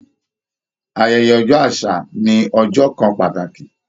Ayẹyẹ ọjọ́ àṣà ni ọjọ́ kan pàtàkì